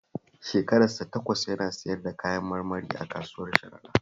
Shekarar sa takwas yana siyar da kayan marmari a kasuwar Sharaɗa